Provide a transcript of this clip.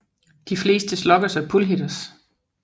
De fleste sluggers er pull hitters